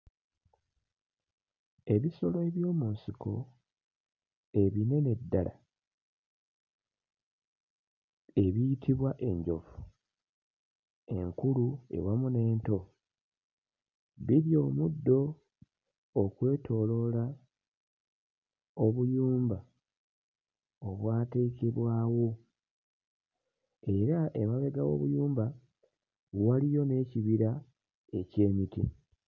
Ebisolo eby'omu nsiko ebinene ddala ebiyitibwa enjovu, enkulu ewamu n'ento birya omuddo okwetooloola obuyumba obwateekebwawo era emabega w'obuyumba waliyo n'ekibira eky'emiti.